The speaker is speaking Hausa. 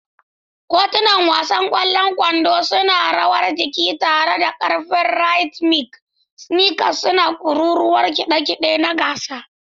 Kotunan wasan ƙwallon kwando suna rawar jiki tare da ƙarfin rhythmic, sneakers suna kururuwar kide kide na gasa.